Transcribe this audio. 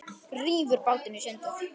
Rífur bátinn í sundur.